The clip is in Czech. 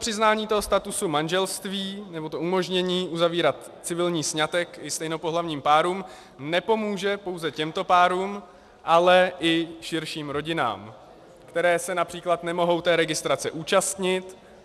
Přiznání statusu manželství, nebo to umožnění uzavírat civilní sňatek i stejnopohlavním párům, nepomůže pouze těmto párům, ale i širším rodinám, které se například nemohou té registrace účastnit.